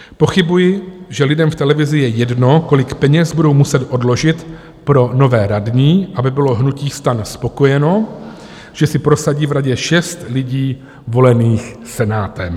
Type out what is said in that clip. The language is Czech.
Pochybuji, že lidem v televizi je jedno, kolik peněz budou muset odložit pro nové radní, aby bylo hnutí STAN spokojeno, že si prosadí v radě šest lidí volených Senátem.